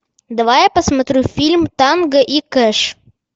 давай я посмотрю фильм танго и кэш